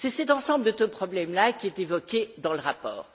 C'est cet ensemble de problèmes là qui est évoqué dans le rapport.